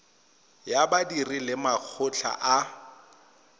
ya badiri le makgotla a